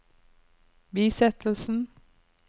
bisettelsen